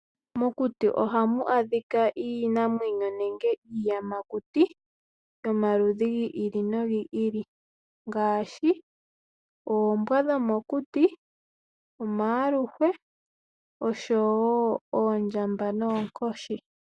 Mokuti ohamu adhika iinamwenyo nenge iiyamakuti yomaludhi gi ili nogi ili ngaashi oombwa dhomokuti, omayaluhwa oshowo oondjamba noonkoshi.